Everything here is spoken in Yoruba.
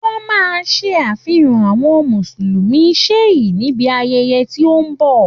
Wọ́n máa ṣe àfihàn àwọn mùsùlùmí shìá níbi ayẹyẹ tí ó ń bọ̀.